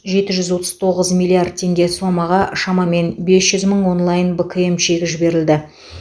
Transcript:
жеті жүз отыз тоғыз миллиард теңге сомаға шамамен бес жүз мың онлайн бкм чегі жіберілді